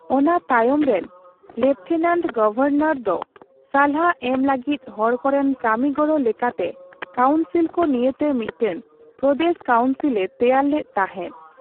ᱚᱱᱟ ᱛᱟᱭᱚᱢ ᱨᱮᱱ, ᱞᱮᱯᱷᱴᱮᱱᱟᱱᱴ ᱜᱚᱵᱷᱚᱨᱱᱚᱨ ᱫᱚ ᱥᱟᱞᱦᱟ ᱮᱢ ᱞᱟᱹᱜᱤᱫ ᱦᱚᱲᱠᱚᱨᱮᱱ ᱠᱟᱢᱤ ᱜᱚᱲᱚ ᱞᱮᱠᱟᱛᱮ ᱠᱟᱣᱩᱱᱥᱤᱞᱠᱚ ᱱᱤᱭᱟᱹᱛᱮ ᱢᱤᱫᱴᱟᱝ ᱯᱨᱚᱫᱮᱥ ᱠᱟᱣᱩᱱᱥᱤᱞ ᱮ ᱛᱮᱭᱟᱨ ᱞᱮᱫ ᱛᱟᱦᱮᱸᱫ ᱾